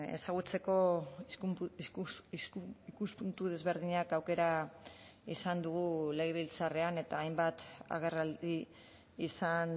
ezagutzeko ikuspuntu desberdinak aukera izan dugu legebiltzarrean eta hainbat agerraldi izan